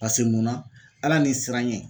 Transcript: Pase mun na Ala ni siraɲɛ